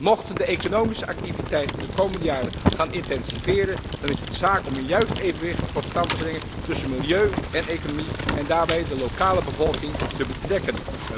Mochten de economische activiteiten de komende jaren gaan intensiveren, dan is het zaak om een juist evenwicht tot stand te brengen tussen milieu en economie en daarbij de lokale bevolking te betrekken.